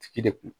Tigi de kun